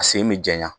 A sen bɛ janɲaya